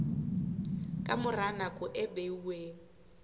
ka mora nako e beuweng